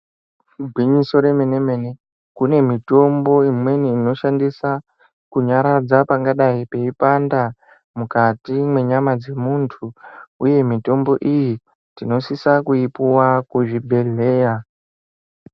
Igwinyiso remene-mene ,kune mitombo imweni inoshandiswa kunyaradza pangadai peipanda mukati menyama dzemuntu uye mitombo iyi tinosisa kuipuwa kuzvibhehleya .